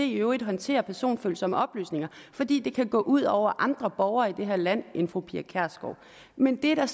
i øvrigt håndterer personfølsomme oplysninger fordi det kan gå ud over andre borgere i det her land end fru pia kjærsgaard men det er